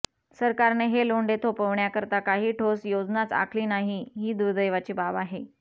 सरकारने हे लोंढे थोपवण्याकरता काही ठोस योजनाच आखली नाही ही दुर्दैवाची बाब आहे